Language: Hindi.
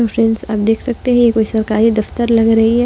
हेलो फ्रेंड्स आप देख सकते हैं यह कोई सरकारी दफ्तर लग रही है।